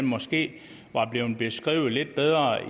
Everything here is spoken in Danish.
måske var blevet beskrevet lidt bedre